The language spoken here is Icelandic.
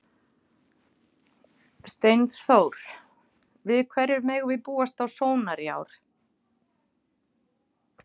Steinþór, við hverju megum við búast á Sónar í ár?